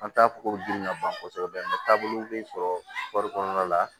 An t'a fɔ ko gili ka bon kosɛbɛ taabolo bɛ sɔrɔ kɔri kɔnɔna la